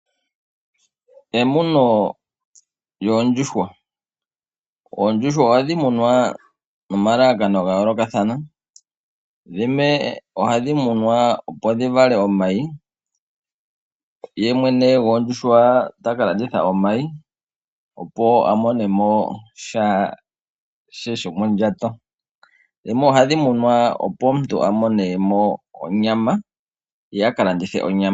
Emuno lyoondjuhwa. Oondjuhwa ohadhi munwa nomalalakano gayoolokathana . Dhimwe ohadhi munwa opo dhivale omayi . Ye mwene goondjuhwa taka landitha omayi , opo amonemo sha she shomondjato . Dhimwe ohadhi munwa opo omuntu amonemo onyama, ye akalandithe onyama.